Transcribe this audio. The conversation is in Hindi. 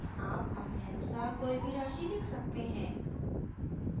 आप अपने अनुसार कोई भी राशि लिख सकते हैं